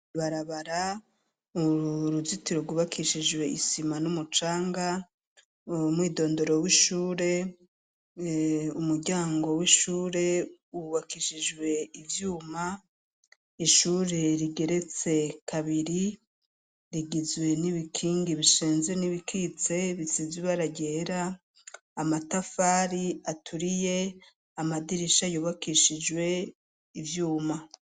Ibarabara, uruzitiro rw'ubakishijwe isima n'umucanga, umwidondoro w'ishure: umuryango w'ishure wubakishijwe ivyuma, ishure rigeretse kabiri rigizwe n'ibikingi bishinze n'ibikitse bisize ibara ryera, amatafari aturiye, amadirisha y'ubakishijwe ivyuma